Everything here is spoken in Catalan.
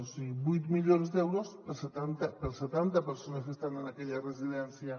o sigui vuit milions d’euros per a setanta persones que estan en aquella residència